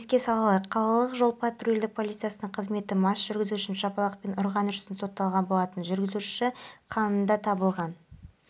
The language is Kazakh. үш тәулік бойы ашық теңізде қалып қойған жастағы абылай сүлейменов қазақпараттілшісіне өзінің қалай құтқарылғаны жайлы айтып